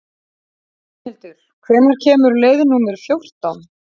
Bjarnhildur, hvenær kemur leið númer fjórtán?